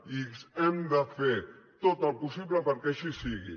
i hem de fer tot el possible perquè així sigui